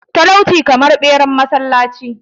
talauci kamar beran masallaci